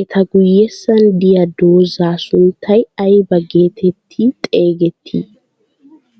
Eta guyessan diyaa dozzaa sunttay ayba geetetti xeegettii?